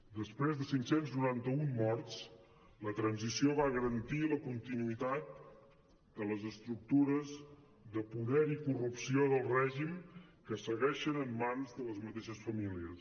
després de cinc cents i noranta un morts la transició va garantir la continuïtat de les estructures de poder i corrupció del règim que segueixen en mans de les mateixes famílies